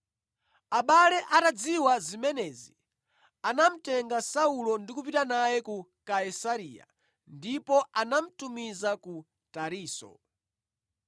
Abale atadziwa zimenezi, anamutenga Saulo ndi kupita naye ku Kaisareya, ndipo anamutumiza ku Tarisisi.